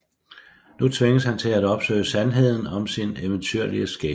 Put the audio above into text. Nu tvinges han til at opsøge sandheden om sin eventyrlige skæbne